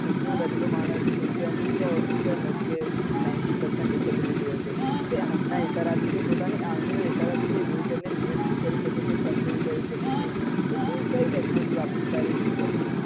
ખુરસી માં બેઠેલો માણસ જેમ કે અમુક જ કે ninety percent disability હોય છે એ આંખ નાં ઈશારે થી કે પોતાની આંગળી ના ઈશારે થી તે wheel chair નિયંત્રિત કરી સકે control કરી સકે છે તો તું કઈ technology વાપરીશ તારી wheel chair માં?